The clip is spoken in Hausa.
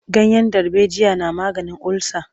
Ganyen darbejiya na maganin olsa.